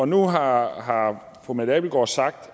nu har har fru mette abildgaard sagt